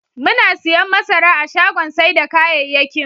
Muna siyan masara a shagon sai da kayayyakin.